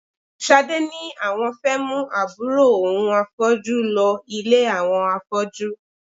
Ṣadé ni àwọn fẹ́ mú àbúrò òun afọ́jú lọ ilé àwọn afọ́jú